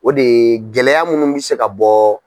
O de ye gɛlɛya munnu bɛ se ka bɔ